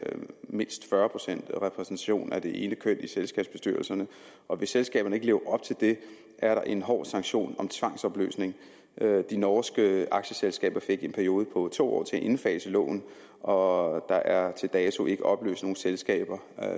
mindst fyrre procent repræsentation af det ene køn i selskabsbestyrelserne og hvis selskaberne ikke lever op til det er der en hård sanktion om tvangsopløsning de norske aktieselskaber fik en periode på to år til at indfase loven og der er til dato ikke opløst nogen selskaber